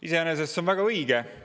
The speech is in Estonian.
Iseenesest see on väga õige.